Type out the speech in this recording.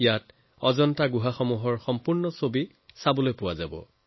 ইয়াত অজন্তা গুহাৰ সম্পূৰ্ণ দৃশ্য চাবলৈ পোৱা যাব